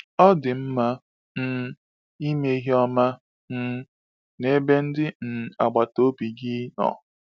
Ọ dị mma um ime ihe ọma um n’ebe ndị um agbata obi gị nọ.